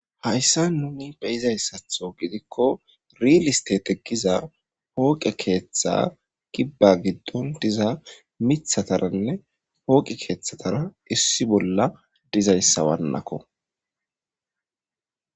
Hayisan nuni beizayisa gidiko Riley istete giza poqe ketha gidon diza mithataranne poqe kethatara issippe dizayisa malako